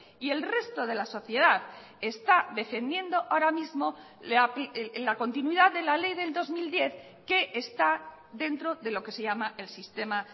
y el resto de la sociedad está defendiendo ahora mismo la continuidad de la ley del dos mil diez que está dentro de lo que se llama el sistema